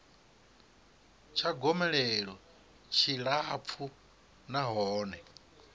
tsha gomelelo tshi tshilapfu nahone